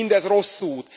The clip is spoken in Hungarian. Mindez rossz út!